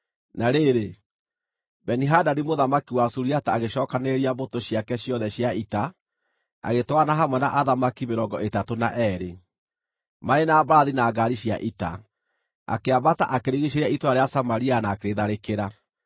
Na rĩrĩ, Beni-Hadadi mũthamaki wa Suriata agĩcookanĩrĩria mbũtũ ciake ciothe cia ita, agĩtwarana hamwe na athamaki mĩrongo ĩtatũ na eerĩ, marĩ na mbarathi na ngaari cia ita, akĩambata akĩrigiicĩria itũũra rĩa Samaria na akĩrĩtharĩkĩra.